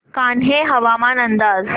कान्हे हवामान अंदाज